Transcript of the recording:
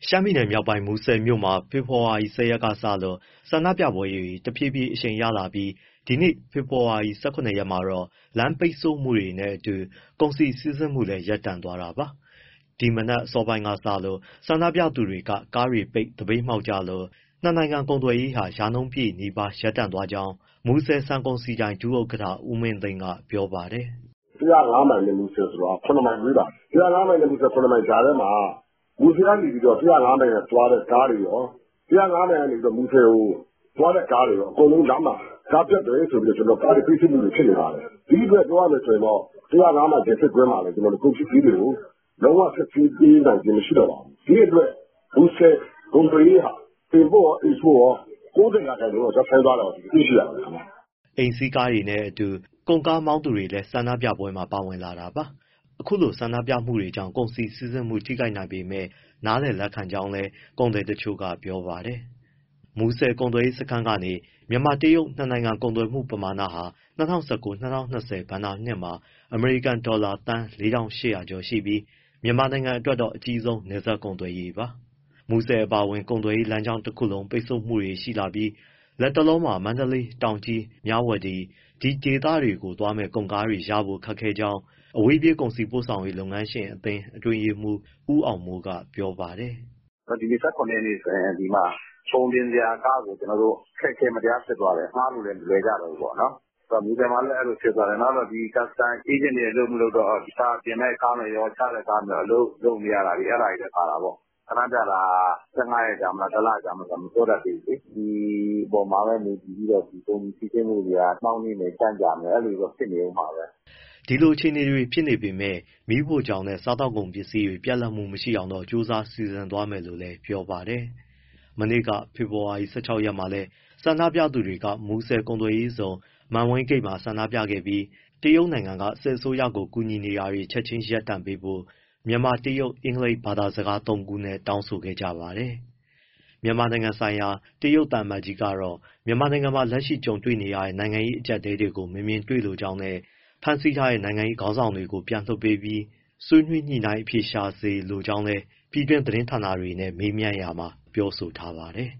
ရှမ်းပြည်မြောက်ပိုင်း မူဆယ်မြို့မှာ ဖေဖော်ဝါရီ ၁၀ ရက်လောက်ကစလို့ ဆန္ဒပြပွဲတွေ တဖြည်းဖြည်းအရှိန်ရလာပြီး ဒီနေ့ ဖေဖော်ဝါရီ ၁၇ ရက်မှာတော့ လမ်းပိတ်ဆို့မှုတွေနဲ့အတူ ကုန်စည်စီးဆင်းမှုလည်း ရပ်တန့်သွားတာပါ။ ဒီမနက်အစောပိုင်းကစလို့ ဆန္ဒပြသူတွေက ကားတွေပိတ် သပိတ်မှောက်ကြလို့ နှစ်နိုင်ငံ ကုန်သွယ်ရေးဟာ ရာနှုန်းပြည့်နီးပါး ရပ်သွားကြောင်းမူဆယ် ဆန်ကုန်စည်ဒိုင် ဒုဥက္ကဋ္ဌ ဦးမင်းသိန်းက ပြောပါတယ်။ “၁၀၅ မိုင်နဲ့ မူဆယ်က ၇ မိုင်ဝေးပါတယ်။ အဲဒီကြားထဲမှာ မူဆယ်ကနေ ၁၀၅ မိုင်သွားတဲ့ကားတွေရော၊ ၁၀၅ မိုင်ကနေ မူဆယ်ကိုသွားတဲ့ ကားတွေရော အကုန်လုံးလမ်းမှာ ကားပျက်တယ်ဆိုပြီးတော့ ကားတွေ ပိတ်ဆို့မှုတွေ ဖြစ်နေပါတယ်။ ဒီအတွက် ပြောရမယ်ဆိုရင်တော့ ၁၀၅ မိုင်မှာလည်း ကုန်ပစ္စည်းတွေကို လုံးဝ စစ်ဆေးပေးနိုင်ခြင်း မရှိတော့ပါဘူး။ ဒီအတွက် မူဆယ် ကုန်သွယ်ရေးဟာ import ရော export ရော ၉၀ ရာခိုင်နှုန်းလောက် ရပ်ဆိုင်းသွားတာကို တွေ့ရပါတယ်။” အိမ်စီးကားတွေနဲ့အတူ ကုန်ကားမောင်းသူတွေလည်း ဆန္ဒပြပွဲမှာ ပါဝင်လာတာပါ။ အခုလိုပိတ်ဆို့မှုတွေကြောင့် ကုန်စည်စီးဆင်းမှု ထိခိုက်နိုင်ပေမဲ့ နားလည်လက်ခံကြောင်းလည်း ကုန်သည်တချို့က ပြောပါတယ်။ မူဆယ်ကုန်သွယ်ရေးစခန်းကနေ မြန်မာ- တရုတ် နှစ်နိုင်ငံ ကုန်သွယ်မှုပမာဏဟာ ၂၀၁၉- ၂၀၂၀ ဘဏ္ဍာနှစ်မှာ အမေရိကန်ဒေါ်လာ သန်း ၄,၈၀၀ ကျော်ရှိပြီး မြန်မာအတွက်တော့ အကြီးဆုံး နယ်စပ်ကုန်သွယ်ရေးပါ။ မူဆယ်အပါအဝင် ကုန်သွယ်ရေးလမ်းကြောင်းတခုလုံး ပိတ်ဆို့မှုတွေ ရှိလာပြီး လတ်တလောမှာ မန္တလေး၊ တောင်ကြီး၊ မြဝတီ ဒီဒေသတွေကို သွားမယ့် ကုန်ကားရဖို့ ခက်ခဲကြောင်း အဝေးပြေး ကုန်စည်ပို့ဆောင်ရေး လုပ်ငန်းရှင်အသင်း အတွင်းရေးမှူး ဦးအောင်မိုးက ပြောပါတယ်။ “ဒီနေ့ ၁၇ ရက်ဆိုရင် ကုန်တင်စရာကားကို အခက်အခဲ မတရားဖြစ်သွားတယ်၊ ငှားလို့လည်း မလွယ်ကြတော့ဘူးပေါ့။ မူဆယ်မှာလည်း အဲဒီလိုဖြစ်သွားတယ်။ နောက် custom အေးဂျင့်တွေ အလုပ်မလုပ်တော့ တင့်မယ့်ကားတွေရော၊ ချမယ့်ကားတွေရော အလုပ်လုပ်လို့ မရတာတွေလည်း ပါတာပေါ့။ ဆန္ဒပြတာက ၁၅ ရက်ကြာမလား၊ ၁လ ကြာမလား မပြောတတ်သေးဘူးလေ။ ဒီအပေါ်မှာပဲ မူတည်ပြီးတော့ ကုန်စည်စီးဆင်းမှုတွေက နှောင့်နှေးမယ် ကြန့်ကြာမယ် အဲဒီလိုတွေ ဖြစ်နေဦးမှာပဲ။” ဒီလိုအခြေအနေတွေ ဖြစ်နေပေမဲ့ မီးဖိုချောင်နဲ့ စားသောက်ကုန်ပစ္စည်းတွေ ပြတ်လပ်မှုမရှိအောင်တော့ ကြိုးစားစီစဉ်သွားမယ်လို့လည်း ပြောပါတယ်။ မနေ့က ဖေဖော်ဝါရီ ၁၆ ရက်မှာလည်း ဆန္ဒပြသူတွေက မူဆယ်ကုန်သွယ်ရေးဇုန်က မန်ဝိန်းဂိတ်ဝမှာ ဆန္ဒပြခဲ့ပြီး တရုတ်က စစ်အစိုးရကို ကူညီတာတွေ ချက်ချင်း ရပ်ဆိုင်းပေးဖို့ မြန်မာ၊ တရုတ်၊ အင်္ဂလိပ် ဘာသာစကားသုံးနဲ့ တောင်းဆိုခဲ့ကြပါတယ်။ မြန်မာနိုင်ငံဆိုင်ရာ တရုတ်သံအမတ်ကြီးကတော့ မြန်မာနိုင်ငံမှာ လက်ရှိကြုံတွေ့နေရတဲ့ နိုင်ငံရေး အကြပ်အတည်းတွေကို မမြင်တွေ့လိုကြောင်းနဲ့ ဖမ်းဆီးထားတဲ့ နိုင်ငံရေးခေါင်းဆောင်တွေကို ပြန်လွှတ်ပေးပြီး၊ ဆွေးနွေးညှိနှိုင်းအဖြေရှာစေလိုကြောင်း ပြည်တွင်းသတင်းဌာနတွေနဲ့ မေးမြန်းရာမှာ ပြောဆိုထားပါတယ်